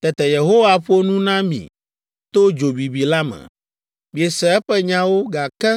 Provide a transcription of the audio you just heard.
Tete Yehowa ƒo nu na mi to dzo bibi la me. Miese eƒe nyawo, gake